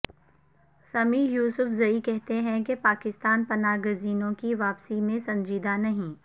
سمیع یوسفزئی کہتے ہیں کہ پاکستان پناہ گزینوں کی واپسی میں سنجیدہ نہیں